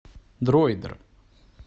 дроидер